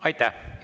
Aitäh!